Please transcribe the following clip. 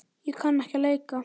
Ég kann ekki að leika.